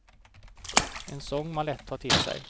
En sång man lätt tar till sig.